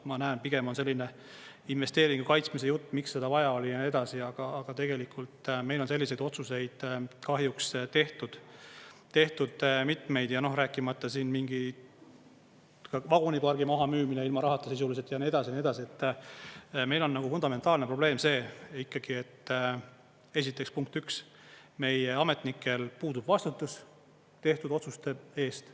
Ma näen, pigem on selline investeeringu kaitsmise jutt, miks seda vaja oli ja nii edasi, aga tegelikult meil on selliseid otsuseid kahjuks tehtud mitmeid, ja rääkimata mingi vagunipargi mahamüümine ilma rahata sisuliselt ja nii edasi ja nii edasi, et meil on fundamentaalne probleem see, et esiteks, punkt üks, meie ametnikel puudub vastutus tehtud otsuste eest.